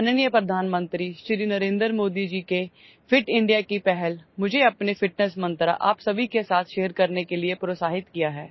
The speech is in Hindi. माननीय प्रधानमंत्री श्री नरेंद्र मोदी जी के फिट इंडिया की पहल मुझे अपने फिटनेस मंत्र आप सभी के साथ शेयर करने के लिए प्रोत्साहित किया है